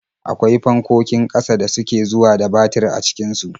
Akwai fankokin ƙasa da suke zuwa da batir a cikin su.